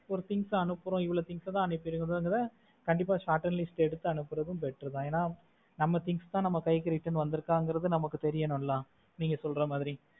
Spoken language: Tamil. ஒரு things அனுப்புறோம் இவ்ளோ things தான் அனுப்புறோங்கிரத கண்டிப்பா short list எடுத்து அனுப்புறது better தான் ஏன்னா நம்ம things அ நம்ம கைக்கு return வந்திருக்கான்றது நமக்கு தெரியணும் இல்ல நீங்க சொல்ற மாதிரி